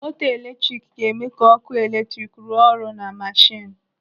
Moto eletrik ga-eme ka ọkụ eletrik rụọ ọrụ na mashinu.